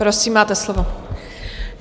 Prosím, máte slovo.